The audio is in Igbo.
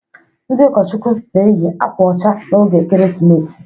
Ndị ụkọchukwu na-eyị akwa ọcha n'oge Ekeresimesi.